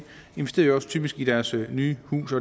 investerer jo også typisk i deres nye hus